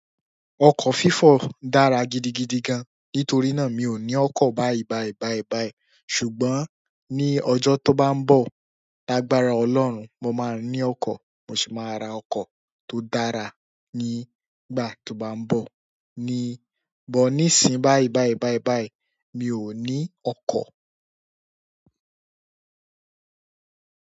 Ọkọ́ fífọ̀ dára gidigidi gan, nítorí náà mi ò ní ọkọ́ báìbàì báìbàì. Ṣùgbọ́n ní ọjọ́ tó bá ń bọ̀, lágbára Ọlọ́run, mo máa ní ọkọ̀. Mo sì máa ra ọkọ́ tó dára nígbà tó bá ń bọ̀. Ní but níìsín báìbàì báìbàì, mi ò ní ọkọ́.